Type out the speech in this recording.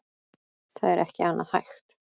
Það er ekki annað hægt